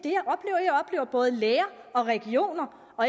at at både læger og regioner og